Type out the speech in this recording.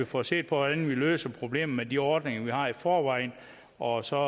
får set på hvordan vi løser problemet med de ordninger vi har i forvejen og så